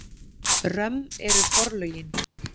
Römm eru forlögin.